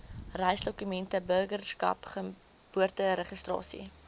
reisdokumente burgerskap geboorteregistrasie